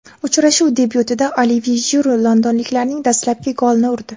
Uchrashuv debyutida Olivye Jiru londonliklarning dastlabki golini urdi.